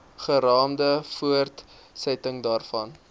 geraamde voortsetting daarvan